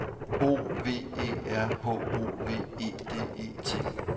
O V E R H O V E D E T